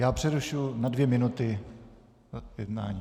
Já přerušuji na dvě minuty jednání.